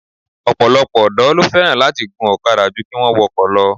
Ọ̀pọ̀lọpọ̀ ọ̀dọ́ ló fẹ́ràn láti gun ọ̀kadà jú kí wọ́n wọkọ̀ lọ